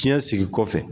Fiɲɛ sigi kɔfɛ